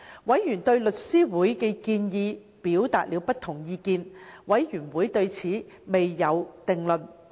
委員對香港律師會的建議表達了不同意見，事務委員會對此未有定論。